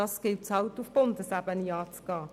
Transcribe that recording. Dies gilt es auf Bundesebene anzugehen.